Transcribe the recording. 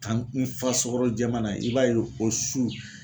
Kan n fa sukaro jɛma na i b'a ye o su.